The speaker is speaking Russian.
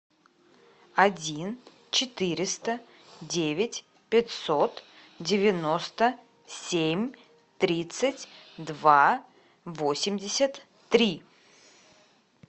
один четыреста девять пятьсот девяносто семь тридцать два восемьдесят три